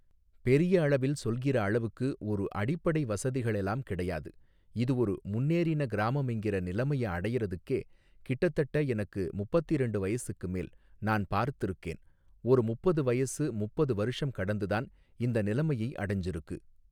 பெரிய அளவில் சொல்கிற அளவுக்கு ஒரு அடிப்படை வசதிகளெலாம் கிடையாது இது ஒரு முன்னேறின கிராமமெங்கிற நிலமைய அடையறத்துக்கே கிட்டத்தட்ட எனக்கு முப்பத்திரண்டு வயசுக்கு மேல் நான் பார்த்துருக்கேன் ஒரு முப்பது வயசு முப்பது வருஷம் கடந்துதான் இந்த நிலைமையை அடைஞ்சுருக்கு